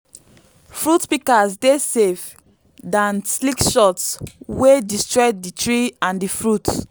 fruit pikas dey safe dan sligshots wey destroy di tree and di fruit